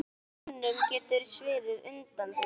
Mönnum getur sviðið undan því.